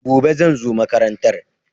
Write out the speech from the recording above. Gobe, zan zo makarantar.